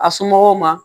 A somɔgɔw ma